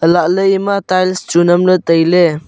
lahley eye ma tiles chu nam ley tai ley.